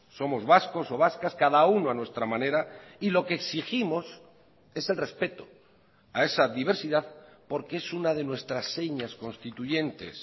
somos vascos o vascas cada uno a nuestra manera y lo que exigimos es el respeto a esa diversidad porque es una de nuestras señas constituyentes